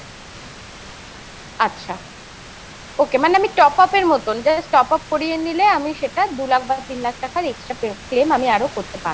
আচ্ছা ওকে মানে আমি top up এর মতন just top up করিয়ে নিলে আমি সেটা দু লাখ বা তিন লাখ টাকার extra claim আমি আরো করতে পারবো ।